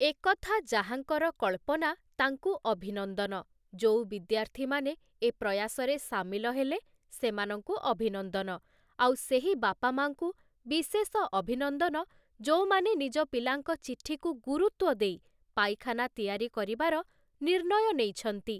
ଏକଥା ଯାହାଙ୍କର କଳ୍ପନା ତାଙ୍କୁ ଅଭିନନ୍ଦନ, ଯୋଉ ବିଦ୍ୟାର୍ଥୀମାନେ ଏ ପ୍ରୟାସରେ ସାମିଲ ହେଲେ ସେମାନଙ୍କୁ ଅଭିନନ୍ଦନ, ଆଉ ସେହି ବାପା ମାଆଙ୍କୁ ବିଶେଷ ଅଭିନନ୍ଦନ ଯେଉଁମାନେ ନିଜ ପିଲାଙ୍କ ଚିଠିକୁ ଗୁରୁତ୍ୱ ଦେଇ ପାଇଖାନା ତିଆରି କରିବାର ନିର୍ଣ୍ଣୟ ନେଇଛନ୍ତି ।